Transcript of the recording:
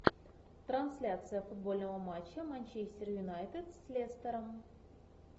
трансляция футбольного матча манчестер юнайтед с лестером